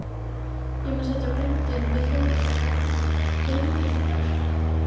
Ég má sitja bundinn við hjólastól vegna liðagiktar.